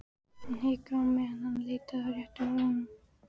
Hann hikaði á meðan hann leitaði að réttu orðunum.